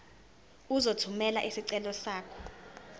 uzothumela isicelo sakho